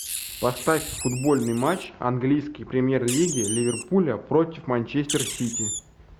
поставь футбольный матч английской премьер лиги ливерпуля против манчестер сити